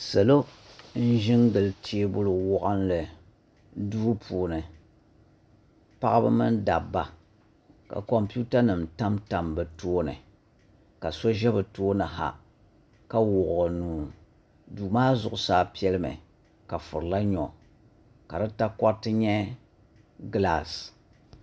Salo n ʒi n gili teebuli waɣanli duu puuni paɣaba mini dabba ka kompiuta nim tamtam bi tooni ka wuɣi o nuu duu maa zuɣusaa piɛli mi ka furla nyo ka di takoriti nyɛ gilaas